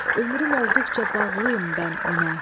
Ömrüm olduqca bağlıyam mən ona.